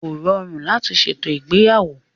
Kò rọrùn láti ṣètò ìgbéyàwó.